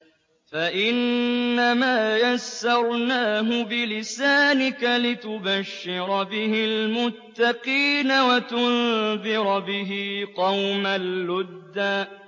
فَإِنَّمَا يَسَّرْنَاهُ بِلِسَانِكَ لِتُبَشِّرَ بِهِ الْمُتَّقِينَ وَتُنذِرَ بِهِ قَوْمًا لُّدًّا